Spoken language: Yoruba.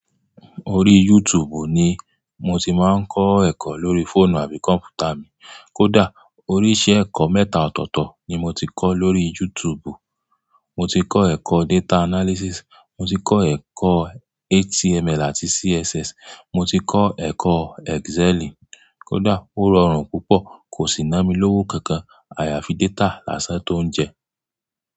Orí YouTube ni mo ti máa ń kọ́ ẹ̀kọ́ lórí fóònù àbí kọ̀mpútà mi. Kódà oríṣi ẹ̀kọ́ mẹ́ta ọ̀tọ̀ọ̀tọ̀ ni mo ti kọ́ lọ́rí YouTube. Mo ti kọ́ ẹ̀kọ́ data analysis, mo ti kọ́ ẹ̀kọ́ HTML àti CSS, mo ti kọ́ ẹ̀kọ́ Excel kódà ó rọrùn púpọ̀, kò sì ná mi lówó kankan. Àyàfi data lásán tó ń jẹ.